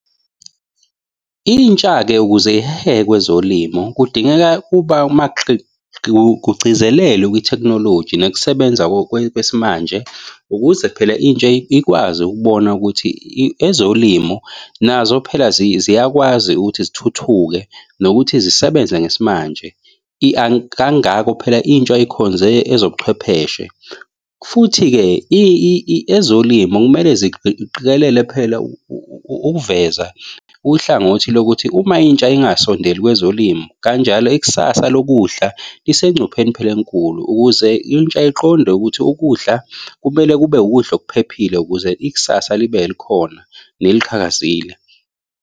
Intsha-ke ukuze iheheke kwezolimo kudingeka kuba kugcizelelwe kwithekhinoloji nokusebenza kwesimanje ukuze phela intsha ikwazi ukubona ukuthi ezolimo nazo phela ziyakwazi ukuthi zithuthuke nokuthi zisebenza ngesimanje. Kangako phela intsha ekhonze ezobuchwepheshe futhi-ke ezolimo kumele phela ukuveza uhlangothi lokuthi uma intsha ingasondeli kwezolimo kanjalo ikusasa lokudla lisengcupheni phela enkulu ukuze intsha iqonde ukuthi ukudla kumele kube ukudla okuphephile ukuze ikusasa libe khona neliqhakazile.